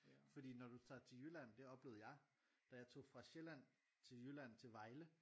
fordi når du tager til Jylland det oplevede jeg da jeg tog fra Sjælland til Jylland til Vejle